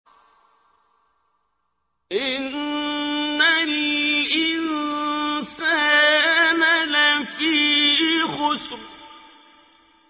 إِنَّ الْإِنسَانَ لَفِي خُسْرٍ